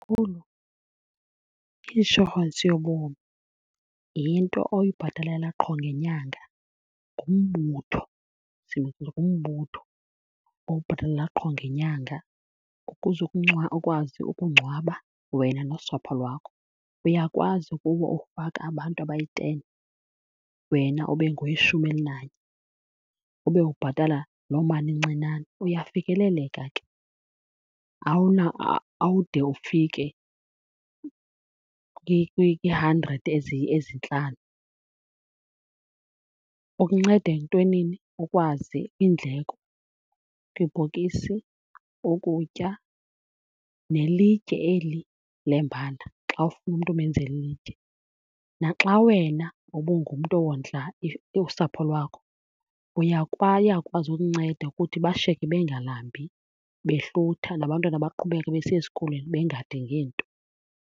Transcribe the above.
Makhulu, i-inshorensi yobomi yinto oyibhatalela qho ngenyanga. Ngumbutho , ngumbutho owubhatalela qho ngenyanga ukuze ukwazi ukungcwaba wena nosapho lwakho. Uyakwazi kuwo ufaka abantu abayi-ten wena ube ngoweshumi elinanye, ube ubhatala loo mali incinane. Uyafikeleleka ke, awude ufike kwii-hundred ezintlanu. Ukunceda entwenini? Ukwazi iindleko kwibhokisi, ukutya, nelitye eli lembala xa ufuna umntu umenzela ilitye. Naxa wena ubungumntu owondla usapho lwakho, iyakwazi ukunceda ukuthi bashiyeke bengalambi behlutha nabantwana baqhubeke besiya esikolweni bengadingi nto.